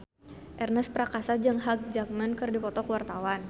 Ernest Prakasa jeung Hugh Jackman keur dipoto ku wartawan